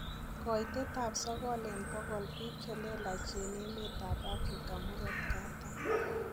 Koitet ab sogol en bogol biik chelelach en emet ab Afrika murto katam.